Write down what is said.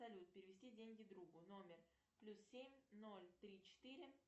салют перевести деньги другу номер плюс семь ноль три четыре